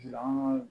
An ka